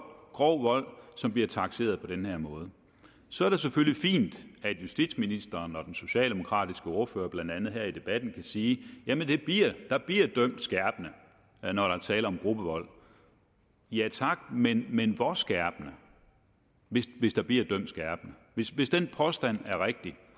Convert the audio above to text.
grov vold som bliver takseret på den her måde så er det selvfølgelig fint at justitsministeren og den socialdemokratiske ordfører blandt andet her i debatten kan sige at der bliver dømt skærpende når der er tale om gruppevold ja tak men men hvor skærpende hvis hvis der bliver dømt skærpende hvis hvis den påstand er rigtig